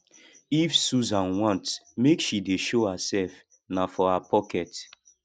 if susan want make she dey show herself na for her pocket